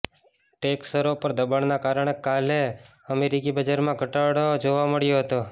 tech શરો પર દબાણના કારણે કાલે અમેરિકી બજારમાં ઘટાડો જોવા મળ્યો હતો